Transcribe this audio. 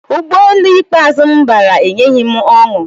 Ụgbọelu ikpeazụ m bara enyeghị m ọṅụ